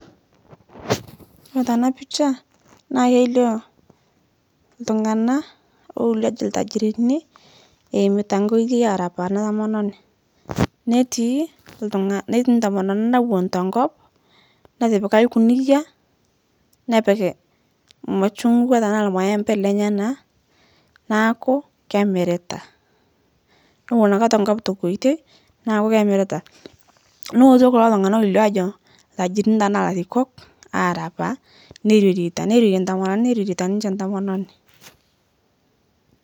Yiolo tana picha naa keilio, ltung'ana loilio aajo ltajirini eimita nkoitoi aarapaa ana tomononi netii ltung'a netii ntomononi nawon tenkop natipika lkuniyia nepik lmachungwa tanaa lmaembe lenyanaa, naaku kemirita, nowon ake tenkop tenkoitoi naaku kemirita nooto kulo Tung'ana loilio aajo ltajirini tenaa larikok aarapaa neirorieta neirorie ntomononi neirorieta niche ntomononi.